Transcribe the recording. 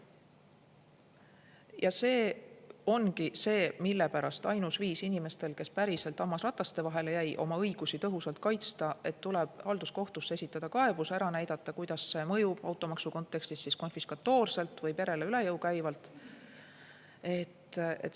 Ja see ongi põhjus, mille pärast on inimestel, kes päriselt hammasrataste vahele jäid, ainus viis oma õigusi tõhusalt kaitsta see, et tuleb halduskohtusse esitada kaebus ja ära näidata, kuidas automaks mõjub neile konfiskatoorselt või perele üle jõu käivalt.